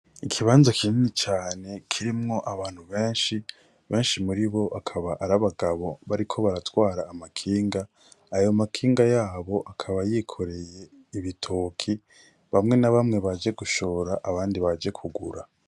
Ikibanzo kinini cane kirimwo abantu benshi benshi muri bo akaba ari abagabo bariko baratwara amakinga ayo makinga yabo akaba yikoreye ibitoki bamwe n'abamwe baje gushora abandi baje kugura.